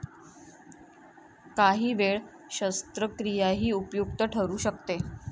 काही वेळ शस्त्रक्रियाही उपयुक्त ठरू शकते.